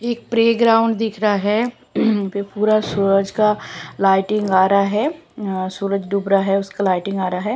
एक प्रेग्राउंड दिख रहा है पूरा सूरज का लाइटिंग आ रा है अह सूरज डूब रहा है उसका लाइटिंग आ रहा है।